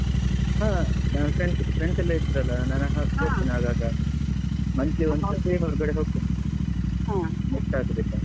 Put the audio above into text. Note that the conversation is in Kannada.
ಹಾ ನಾನ್ friends friends ಎಲ್ಲ ಇದ್ರಲ್ಲ ನಾನ್ ಹೋಗ್ತೀನಿ ಆಗಾಗ. monthly ಒಂದ್ ಸತಿ ಹೊರ್ಗಡೆ ಹೋಗ್ತೀನಿ miss ಆಗುದಿಲ್ಲ.